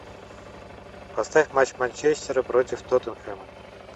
поставь матч манчестера против тоттенхэма